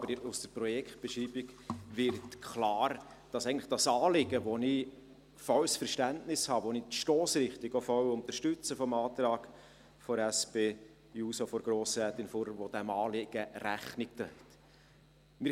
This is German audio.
Aber aus der Projektbeschreibung wird klar, dass eigentlich das Anliegen, für welches ich volles Verständnis habe, bei welchem ich die Stossrichtung des Antrags der SP-JUSO-PSA von Grossrätin Fuhrer, welche diesem Anliegen Rechnung trägt, voll unterstütze ...